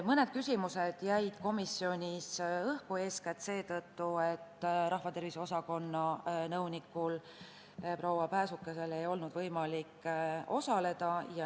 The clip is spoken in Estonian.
Mõned küsimused jäid komisjonis õhku, eeskätt seetõttu, et rahvatervise osakonna nõunikul proua Pääsukesel ei olnud võimalik osaleda.